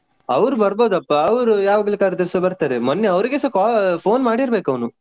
ಅವ್ರು ಬರ್ಬೋದಪ್ಪ ಅವ್ರು ಯಾವಾಗ್ಲು ಕರೆದ್ರೆಸ ಬರ್ತಾರೆ. ಮೊನ್ನೆ ಅವ್ರಿಗೆಸ call phone ಮಾಡಿರ್ಬೇಕು ಅವ್ನು.